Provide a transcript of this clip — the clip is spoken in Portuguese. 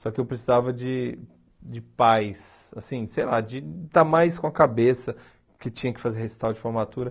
só que eu precisava de de paz, assim, sei lá, de estar mais com a cabeça, porque tinha que fazer recital de formatura.